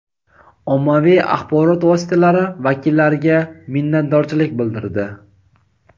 ommaviy axborot vositalari vakillariga minnatdorchilik bildirdi.